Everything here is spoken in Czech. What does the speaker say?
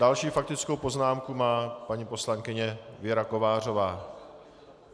Další faktickou poznámku má paní poslankyně Věra Kovářová.